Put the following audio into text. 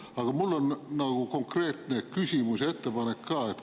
Aga mul on konkreetne küsimus ja ettepanek ka.